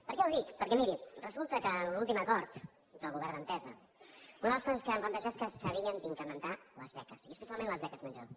per què ho dic perquè miri resulta que en l’últim acord del govern d’entesa una de les coses que vam plantejar és que s’havien d’incrementar les beques i especialment les beques menjador